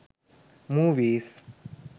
movies